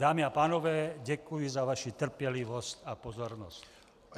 Dámy a pánové, děkuji za vaši trpělivost a pozornost.